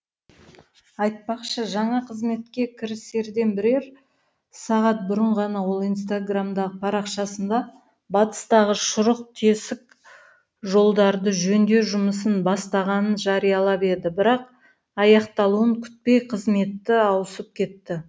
айтпақшы жаңа қызметке кірісерден бірер сағат бұрын ғана ол инстаграмдағы парақшасында батыстағы шұрық тесік жолдарды жөндеу жұмысын бастағанын жариялап еді бірақ аяқталуын күтпей қызметі ауысып кетті